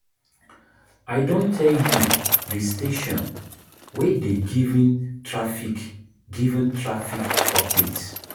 I don tell you di station wey dey given traffic given traffic update.